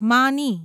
માની